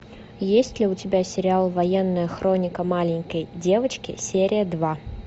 есть ли у тебя сериал военная хроника маленькой девочки серия два